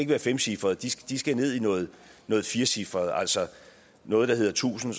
være femcifrede de skal de skal ned i noget firecifret altså noget der hedder tusind